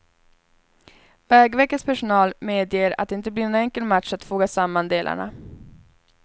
Vägverkets personal medger att det inte blir någon enkel match att foga samman delarna.